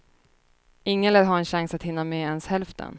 Ingen lär ha en chans att hinna med ens hälften.